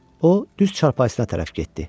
O düz çarpayısına tərəf getdi.